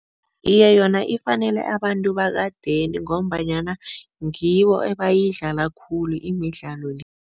Iye, yona ifanele abantu bekadeni ngombanyana ngibo ebayidlala khulu imidlalo le.